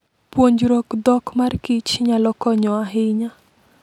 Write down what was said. Puonjruok dhok mar kich nyalo konyo ahinya.